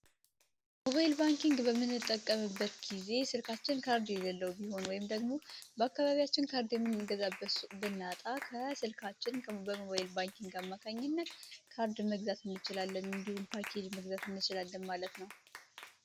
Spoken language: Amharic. ሞባይል ባንኪንግ በምንጠቀምበት ጊዜ በልካችን ካርድ ከሌለው ወይም ደግሞ በአካባቢያችን ሱቅ ብናጣ ከስልካችን በሞባይል ባንኪንግ አማካኝነት ካርድ መግዛት እንችላለን እንዲሁም ፓኬጅ መግዛት እንችላለን ማለት ነው።